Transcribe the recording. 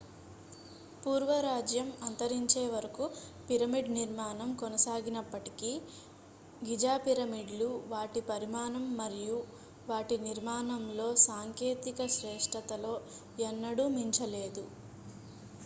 పూర్వ రాజ్యం అంతరించే వరకు పిరమిడ్-నిర్మాణం కొనసాగినప్పటికీ గిజా పిరమిడ్లు వాటి పరిమాణం మరియు వాటి నిర్మాణంలో సాంకేతిక శ్రేష్టతలో ఎన్నడూ మించలేదు